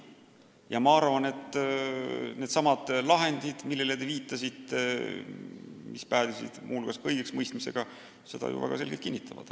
Ja ma arvan, et needsamad lahendid, millele te viitasite ja mis päädisid muu hulgas õigeksmõistmisega, seda ju väga selgelt kinnitavad.